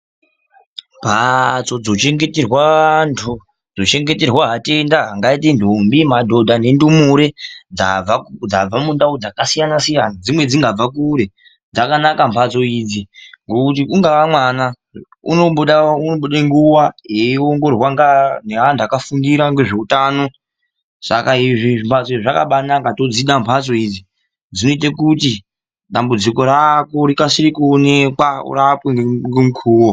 Mhatso dzinonochengeterwa antu ,dzochengeterwa atenda, ndombi, madhodha nendumure dzabva mundau dzakasiyana siyana dzimweni dzingava dzabve kure, dzakanaka mhatso idzi kuti ungava mwana anomboda nguva yekuongororwa navantu vakafundira zveutano, saka izvi zvimhatso tozvida zvakanaka zvinoita kuti dambudziko rako rikasire kuonekwa ,urapwe pachine nguwa.